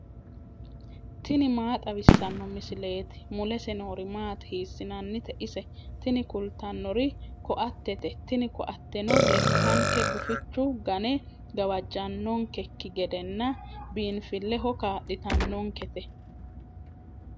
tini maa xawissanno misileeti ? mulese noori maati ? hiissinannite ise ? tini kultannori ko"attete. tini ko"atteno lekkanke gufichu gane gawajjannonkekki gedenna biinfilleho kaa'litannonkete.